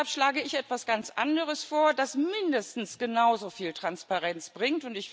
Deshalb schlage ich etwas ganz anderes vor, das mindestens genauso viel Transparenz bringt.